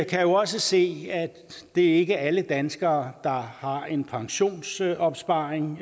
kan også se at det ikke er alle danskere der har en pensionsopsparing